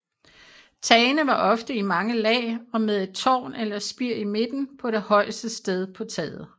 Tagene var ofte i mange lag og med et tårn eller spir i midten på det højeste sted på taget